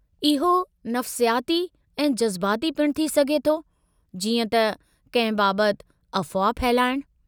इहो नफ़्सियाती ऐं जज़्बाती पिणु थी सघे थो जीअं त कंहिं बाबत अफ़वाह फहिलाइणु।